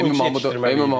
Ona görə öyrəşdirmək çətindir.